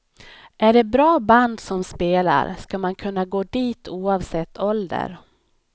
Är det ett bra band som spelar ska man kunna gå dit oavsett ålder.